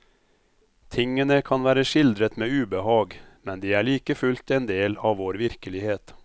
Tingene kan være skildret med ubehag, men de er like fullt endel av vår virkelighet.